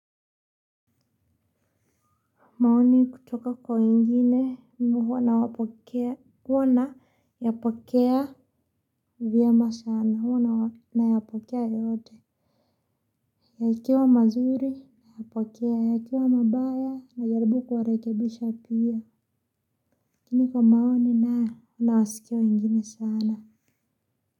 Maoni kutoka kwa wengine mmii huwa nayapokea, huwa nayapokea vyema sana, huwa nayapokea yote. Yakiwa mazuri, nayapokea, yakiwa mabaya, najarbu kuwarekebisha pia. Lakini kwa maoni nayo nawasikewa wengine sana.